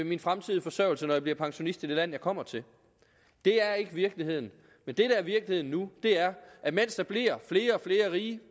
min fremtidige forsørgelse når jeg bliver pensionist i det land jeg kommer til det er ikke virkeligheden det der er virkeligheden nu er at mens der bliver flere og flere rige